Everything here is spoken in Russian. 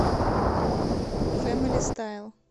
фэмили стайл